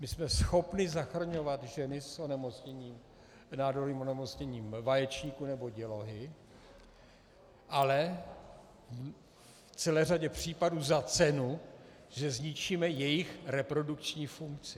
My jsme schopni zachraňovat ženy s nádorovým onemocněním vaječníků nebo dělohy, ale v celé řadě případů za cenu, že zničíme jejich reprodukční funkci.